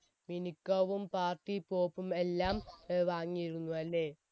മിനുക്കവും party pop ഉം എല്ലാം വാങ്ങിയിരുന്നു അല്ലെ